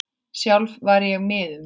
Sjálf var ég miður mín.